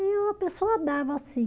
E a pessoa dava, assim.